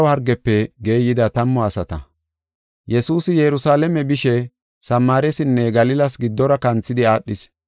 Yesuusi Yerusalaame bishe Samaarisinne Galilas giddora kanthidi aadhis.